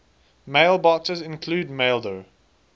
mailboxes include maildir